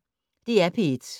DR P1